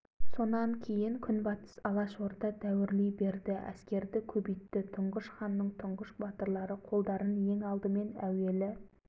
бұл школ бітіріп шыққан алашорданың тұңғыш қазақ офицерлерінің тұңғыш ауыздануы тырнақалдысы қазақтан басталды